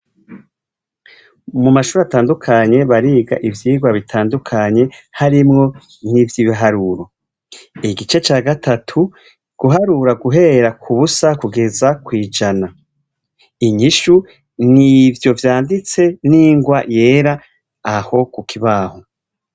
Mumashure atandukanye bariga ivyirwa bitandukanye harimwo nivyibiharuro igice ca gatatu guharura guhera kubusa kugeza kwijana inyishu nivyo vyanditse nirwa yera aho kukibaho